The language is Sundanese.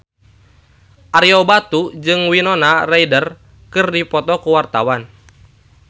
Ario Batu jeung Winona Ryder keur dipoto ku wartawan